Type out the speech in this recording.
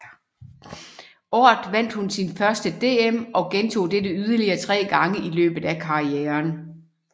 Året vandt hun sit første DM og gentog dette yderligere tre gange i løbet af karrieren